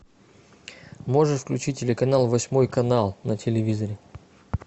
можешь включить телеканал восьмой канал на телевизоре